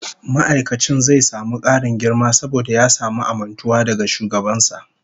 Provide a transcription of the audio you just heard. Ma'aikacin zai samu karin girma saboda ya samu amintuwa daga shugaban sa